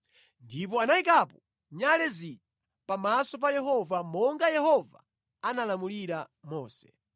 Ndipo anayikapo nyale zija pamaso pa Yehova, monga Yehova analamulira Mose.